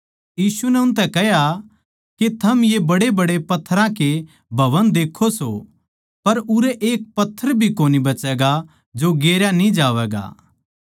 यीशु नै उनतै कह्या के थम ये बड्डेबड्डे पत्थरां के भवन देक्खो सो पर उरै एक पत्थर भी कोनी बचैगा जो गेरया न्ही जावैगा